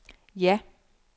ja